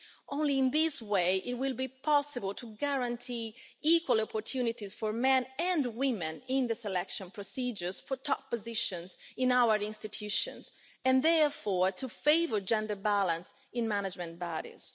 Only in this way will it be possible to guarantee equal opportunities for men and women in the selection procedures for top positions in our institutions, and therefore to favour gender balance in management bodies.